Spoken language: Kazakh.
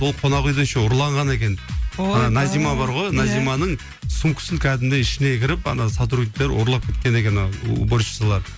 ол қонақ үйде еще ұрланған екен ойбай ана назима бар ғой иә назиманың сумкасын кәдімгідей ішіне кіріп ана сотрудниктер ұрлап кеткен екен а уборщицалар